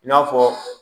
I n'a fɔ